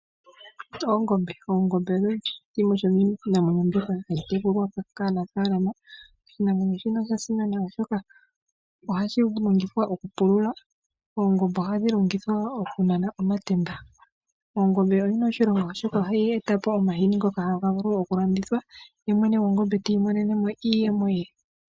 Oongome. Oongombe odho dhimwe dhomiinamwenyo mbyoka hayi tekulwa kaanafaalama. Oshinamwenyo shika osha simana oshoka ohashi longithwa oku pulula . Oongombe ohadhi longithwa woo okunana omatemba. Oongombe oyina oshilonga oshoka ohayi etapo omahini ngoka haga vulu oku landithwa ye mwene gwongombe ti imonenemo iiyemo ye.